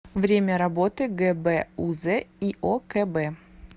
время работы гбуз иокб